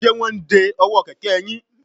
Ṣé wọ́n ń de ọwọ́ kẹ̀kẹ́ yín?